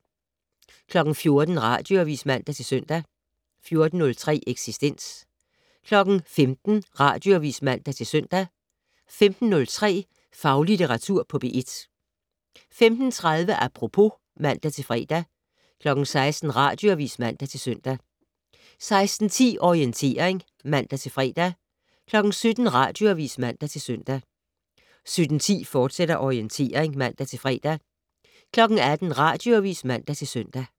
14:00: Radioavis (man-søn) 14:03: Eksistens 15:00: Radioavis (man-søn) 15:03: Faglitteratur på P1 15:30: Apropos (man-fre) 16:00: Radioavis (man-søn) 16:10: Orientering (man-fre) 17:00: Radioavis (man-søn) 17:10: Orientering, fortsat (man-fre) 18:00: Radioavis (man-søn)